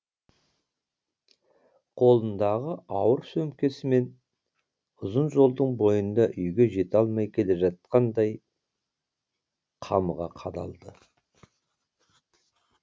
қолындағы ауыр сөмкесімен ұзын жолдың бойында үйге жете алмай келе жатқандай қамыға қадалды